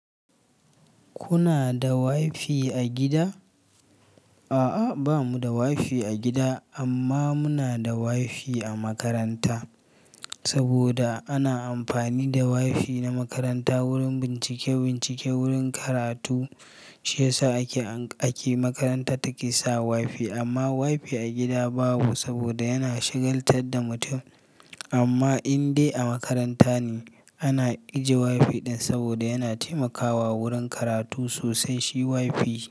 Kuna da wifi a gida? A'a, ba mu da wifi a gida amma muna da wifi a makaranta. Saboda ana amfani da wifi na makaranta wurin bincike-bincike wurin karatu, shi ya sa ake makaranta take sa wifi. Amma wifi a gida babu saboda yana shigaltar da mutum. Amma in dai a makaranta ne, ana ijiye wifi ɗin saboda yana taimakawa wurin karatu sosai shi wifi.